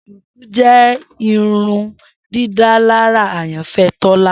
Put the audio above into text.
Shuku jẹ irundidalara ayanfẹ Tola.